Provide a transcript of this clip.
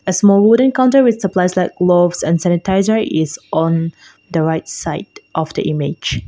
a small wooden counter with supplies like gloves and sanitizer is on the right side of the image.